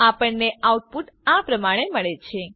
આપણને આઉટપુટ આ પ્રમાણે મળે છે